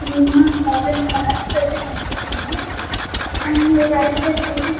Shriman cotton shops ఐతే కనిపిస్తున్నాయ్ and right side ఐతే --